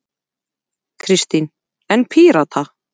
Kristín: En Pírata?